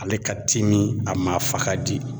Ale ka timi a maa fa ka di